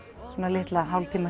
litla hálftíma